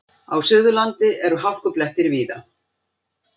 Á Suðurlandi eru hálkublettir víða